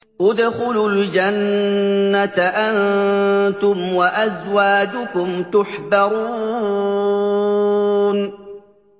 ادْخُلُوا الْجَنَّةَ أَنتُمْ وَأَزْوَاجُكُمْ تُحْبَرُونَ